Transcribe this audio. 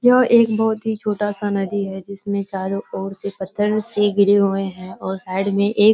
यह एक बहुत ही छोटा सा नदी है जिसमें ओर से पत्थर से घिरे हुए हैं और साइड में एक --